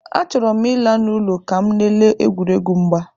Achọrọ m ịla n'ụlọ ka m lelee egwuregwu mgba.